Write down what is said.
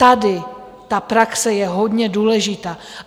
Tady ta praxe je hodně důležitá.